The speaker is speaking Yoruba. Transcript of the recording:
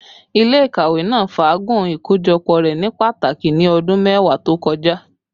Ile-ikawe naa faagun ikojọpọ rẹ ni pataki ni ọdun mẹwa to kọja